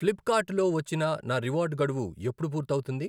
Flipkart లో వచ్చిన నా రివార్డు గడువు ఎప్పుడు పూర్తవుతుంది?